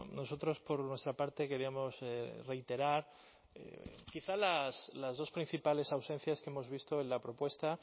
nosotros por nuestra parte queríamos reiterar quizá las dos principales ausencias que hemos visto en la propuesta